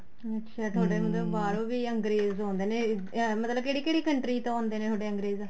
ਅੱਛਾ ਤੁਹਾਡੇ ਬਾਹਰੋ ਵੀ ਅੰਗਰੇਜ ਆਉਦੇ ਨੇ ਮਤਲਬ ਕੀ ਕਿਹੜੀ ਕਿਹੜੀ country ਤੋਂ ਆਉਦੇ ਨੇ ਤੁਹਾਡੇ ਅੰਗਰੇਜ